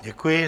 Děkuji.